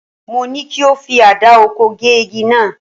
Mo ní kí o fi àdá oko gé igi náà